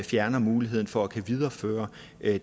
fjernes muligheden for at kunne videreføre